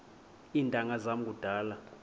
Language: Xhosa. iintanga zam kudala